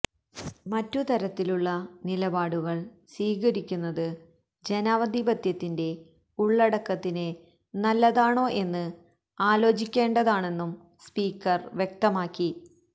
മറ്റു തരത്തിലുള്ള നിലപാടുകള് സ്വീകരിക്കുന്നത് ജനാധിപത്യത്തിന്റെ ഉള്ളടക്കത്തിന് നല്ലതാണോ എന്ന് ആലോചിക്കേണ്ടതാണെന്നും സ്പീക്കര് വ്യക്തമാക്കി